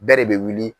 Bɛɛ de bɛ wuli